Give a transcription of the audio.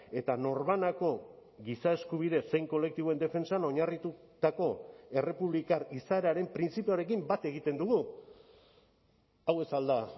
eta norbanako giza eskubide zein kolektiboen defentsan oinarritutako errepublikar izaeraren printzipioarekin bat egiten dugu hau ez al da